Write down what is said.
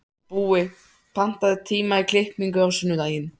Búi, pantaðu tíma í klippingu á sunnudaginn.